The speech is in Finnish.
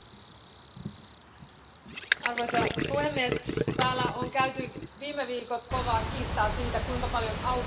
Arvoisa puhemies, täällä on käyty viime viikot kovaa kiistaa siitä, kuinka paljon autoteollisuudelta voi vaatia.